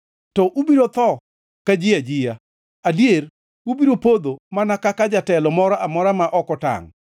To ubiro tho ka ji ajia; adier ubiro podho mana kaka jatelo moro amora ma ok otangʼ.”